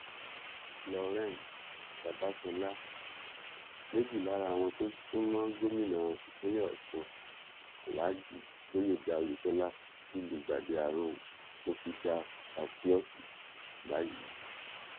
florence babáṣọlá méjì lára àwọn tó súnmọ́ gómìnà ìpínlẹ̀ ọ̀ṣun alhaji gbóyèga oyètọ́lá ti lùgbàdì àrùn covidafásiọọsì báyìí